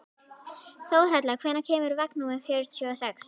Þórhalla, hvenær kemur vagn númer fjörutíu og sex?